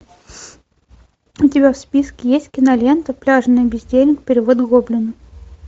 у тебя в списке есть кинолента пляжный бездельник перевод гоблина